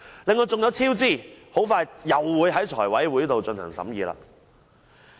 另外還有工程超支，很快會在財務委員會進行審議。